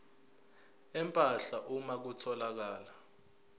empahla uma kutholakala